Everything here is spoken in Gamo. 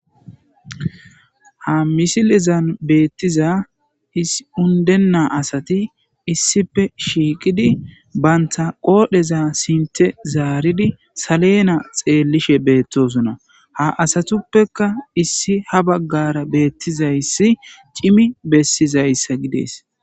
ha misilizan beettiza issi undenna asati issife shiiqidi banta qoodheza sinte zaaridi salena xeellishe beettosonna ha asatuppeka issi ha baggara beettizayssi cimi bessizayssa gidees